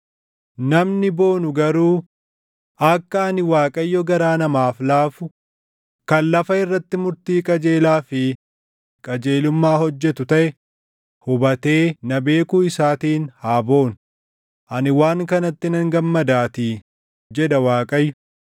namni boonu garuu, akka ani Waaqayyo garaa namaaf laafu, kan lafa irratti murtii qajeelaa fi qajeelummaa hojjetu taʼe hubatee na beekuu isaatiin haa boonu; ani waan kanatti nan gammadaatii,” jedha Waaqayyo.